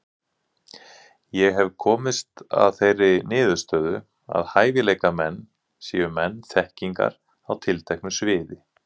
Ég hef komist að þeirri niðurstöðu, að hæfileikamenn séu menn þekkingar á tilteknu sviði.